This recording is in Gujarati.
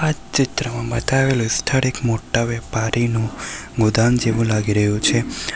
આ ચિત્રમાં બતાવેલું સ્થળ એક મોટા વેપારીનું ગોદામ જેવું લાગી રહ્યું છે.